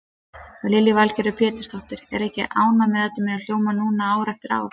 Lillý Valgerður Pétursdóttir: Ertu ekki ánægð með að þetta muni hljóma núna ár eftir ár?